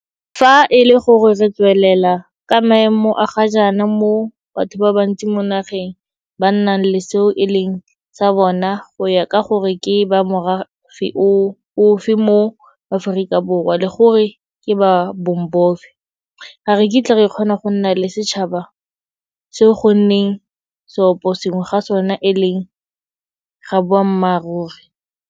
Fa e le gore re tswelela ka maemo a ga jaana moo batho ba bantsi mo nageng ba nnang le seo e leng sa bona go ya ka gore ke ba morafe ofe mo Aforika Borwa le gore ke ba bong bofe, ga re kitla re kgona go nna le setšhaba seo go nneng seoposengwe ga sona e leng ga boammaruri.